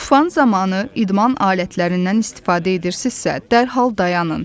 Tufan zamanı idman alətlərindən istifadə edirsinizsə, dərhal dayanın.